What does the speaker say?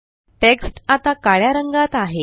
text आता काळ्या रंगात आहे